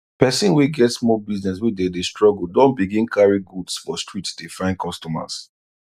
persin wey get small business wey dey dey struggle don begin carry goods for street dey find customers